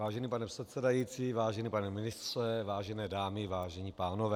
Vážený pane předsedající, vážený pane ministře, vážené dámy, vážení pánové.